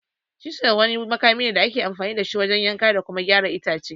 "Chisel" wani makami ne da ake amfani da shi wajen yanka da kuma gyara itace.